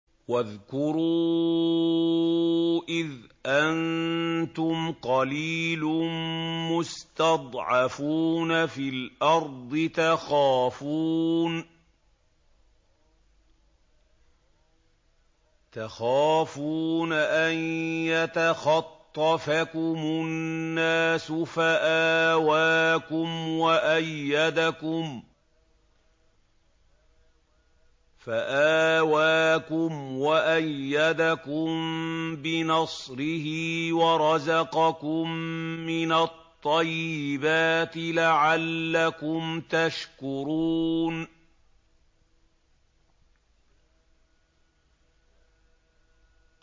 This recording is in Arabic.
وَاذْكُرُوا إِذْ أَنتُمْ قَلِيلٌ مُّسْتَضْعَفُونَ فِي الْأَرْضِ تَخَافُونَ أَن يَتَخَطَّفَكُمُ النَّاسُ فَآوَاكُمْ وَأَيَّدَكُم بِنَصْرِهِ وَرَزَقَكُم مِّنَ الطَّيِّبَاتِ لَعَلَّكُمْ تَشْكُرُونَ